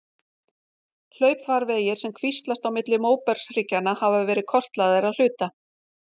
Hlaupfarvegir sem kvíslast á milli móbergshryggjanna hafa verið kortlagðir að hluta.